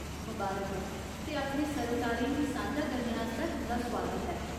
मबारक ऐ ते अपने सरोकारें गी सांझा करने आस्तै तुं'दा सुआगत ऐ।